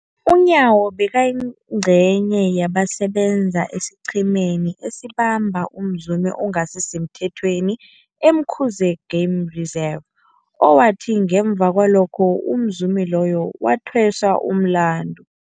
UNyawo bekayingcenye yabasebenza esiqhemeni esabamba umzumi ongasisemthethweni e-Umkhuze Game Reserve, owathi ngemva kwalokho umzumi loyo wathweswa umlandu.